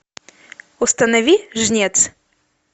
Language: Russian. установи жнец